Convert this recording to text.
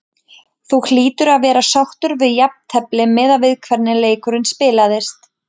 Þú hlýtur að vera sáttur við jafntefli miðað við hvernig leikurinn spilaðist?